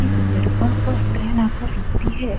इस प्लेटफार्म पर ट्रेन आकर रूकती है।